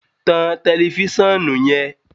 tan tẹlifisiọnu yen!